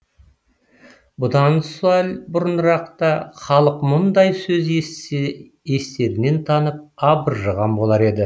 бұдан сәл бұрынырақта халық мұндай сөз естісе естерінен танып абыржыған болар еді